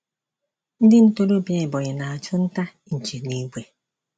Ndị ntorobịa Ebonyi na-achụ nta nchi n'ìgwè.